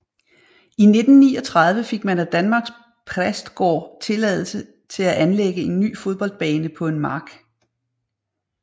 I 1939 fik man af Danmarks Prästgård tilladelse til at anlægge en ny fodboldbane på en mark